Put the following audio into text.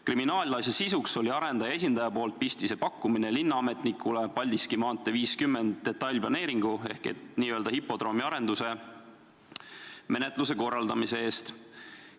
Kriminaalasja sisuks oli arendaja esindaja poolt pistise pakkumine linnaametnikule Paldiski maantee 50 detailplaneeringu ehk n-ö hipodroomi arenduse menetluse korraldamise eest.